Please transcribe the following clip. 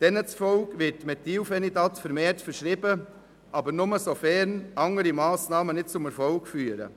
Laut denen wird Methylphenidat vermehrt verschrieben, aber nur sofern andere Massnahmen nicht zum Erfolg führen.